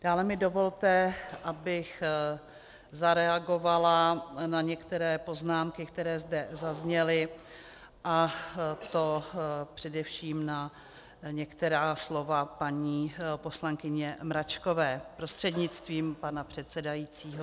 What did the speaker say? Dále mi dovolte, abych zareagovala na některé poznámky, které zde zazněly, a to především na některá slova paní poslankyně Mračkové, prostřednictvím pana předsedajícího.